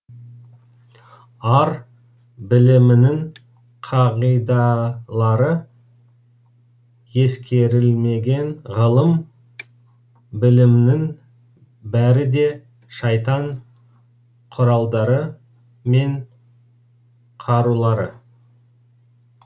ар білімінің қағидалары ескерілмеген ғылым білімнің бәрі де шайтан құралдары мен қарулары